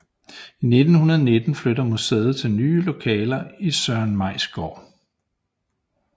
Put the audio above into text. I 1919 flytter museet til nye lokaler i Søren Mays Gaard